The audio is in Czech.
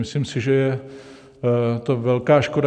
Myslím si, že je to velká škoda.